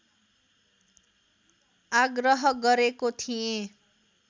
आग्रह गरेको थिएँ